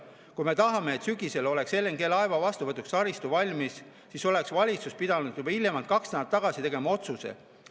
Kui me tahame, et sügisel oleks LNG‑laeva vastuvõtuks taristu valmis, siis oleks valitsus pidanud juba hiljemalt kaks nädalat tagasi tegema otsuse.